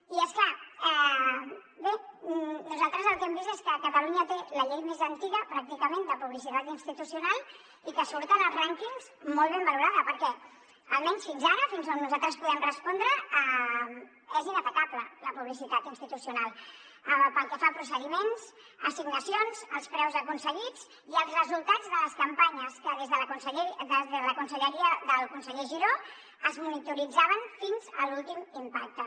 i és clar bé nosaltres el que hem vist és que catalunya té la llei més antiga pràcticament de publicitat institucional i que surt en els rànquings molt ben valorada perquè almenys fins ara fins on nosaltres podem respondre és inatacable la publicitat institucional pel que fa a procediments a assignacions als preus aconseguits i als resultats de les campanyes que des de la conselleria del conseller giró es monitoritzaven fins a l’últim impacte